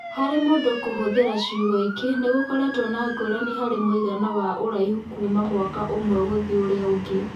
Harĩ mũndũ kũhũthĩra ciugo ingĩ, nĩ gũkoretwo na ngũrani harĩ mũigana wa ũraihu kuuma mwaka ũmwe gũthiĩ ũrĩa ũngĩ.